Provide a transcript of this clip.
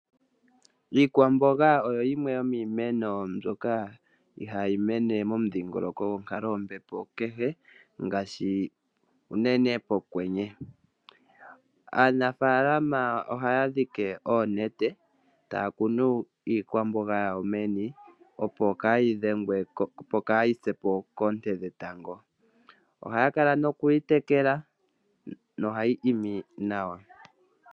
Iikwamboga oyo yimwe yomiimeno mbyoka ihayi koko monkalo yombepo kehe unene pokwenye. Aanafalama ohaya dhike oonete taya kunu iimeno yawo, opo kayi pye po koonte dhetango. Ohaya kala nokuyitekela nohayi koko nawa.